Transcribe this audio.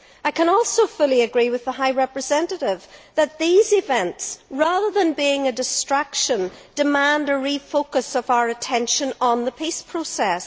I can also fully agree with the High Representative that these events, rather than being a distraction, demand a refocusing of our attention on the peace process.